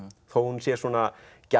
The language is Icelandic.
þó hún sé svona